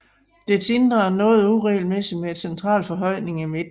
Dets indre er noget uregelmæssigt med en central forhøjning i midten